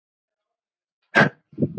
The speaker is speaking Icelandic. Eða kannski sagði hún ekkert.